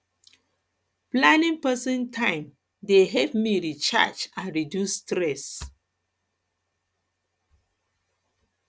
planning personal time dey help me recharge and reduce stress